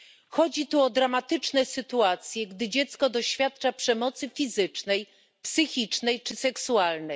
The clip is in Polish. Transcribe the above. Chodzi tu o dramatyczne sytuacje, gdy dziecko doświadcza przemocy fizycznej, psychicznej czy seksualnej.